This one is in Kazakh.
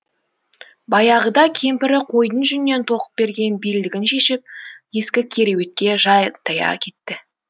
баяғыда кемпірі қойдың жүнінен тоқып берген белдігін шешіп ескі кереуетке жантая кетті